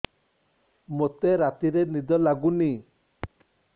ମୋତେ ରାତିରେ ନିଦ ଲାଗୁନି